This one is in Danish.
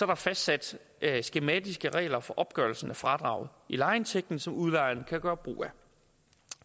der fastsat skematiske regler for opgørelsen af fradraget i lejeindtægten som udlejeren kan gøre brug af